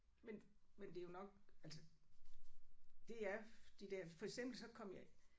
Men men det er jo nok altså det er de der for eksempel så kom jeg